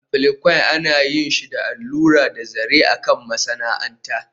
Applique ana yin shi da allura da zaren a kan masana'anta